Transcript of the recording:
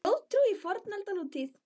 Þjóðtrú í fornöld og nútíð